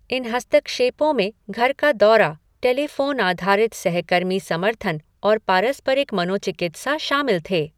इन हस्तक्षेपों में घर का दौरा, टेलीफोन आधारित सहकर्मी समर्थन और पारस्परिक मनोचिकित्सा शामिल थे।